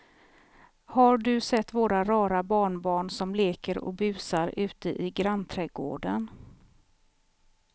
Har du sett våra rara barnbarn som leker och busar ute i grannträdgården!